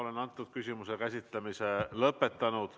Oleme selle küsimuse käsitlemise lõpetanud.